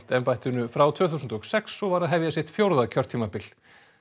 embættinu frá tvö þúsund og sex og var að hefja sitt fjórða kjörtímabil